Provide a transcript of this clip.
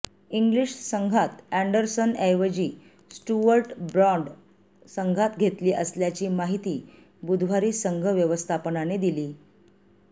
English संघात अँडरसनऐवजी Stuart Broad संघात घेतली असल्याची माहिती बुधवारी संघ व्यवस्थापनाने दिली